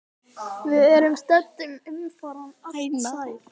Við erum södd en umfram allt sæl.